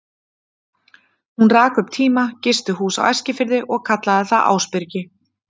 Hún rak um tíma gistihús á Eskifirði og kallaði það Ásbyrgi.